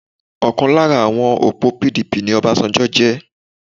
Ọ̀kan lára àwọn òpó PDP ni Obasanjo jẹ́